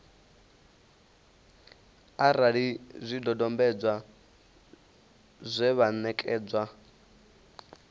arali zwidodombedzwa zwe vha ṋekana